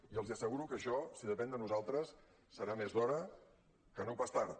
i els asseguro que això si depèn de nosaltres serà més d’hora que no pas tard